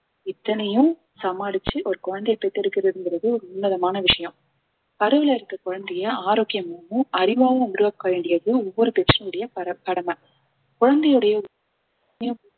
இத்தனையும் சமாளிச்சு ஒரு குழந்தையை பெத்து எடுக்கிறதுங்கிறது ஒரு உன்னதமான விஷயம் கருவில இருக்கிற குழந்தையை ஆரோக்கியமாவும் அறிவாவும் உருவாக்க வேண்டியது ஒவ்வொரு பெற்றோரோட கட~ கடமை குழந்தையுடைய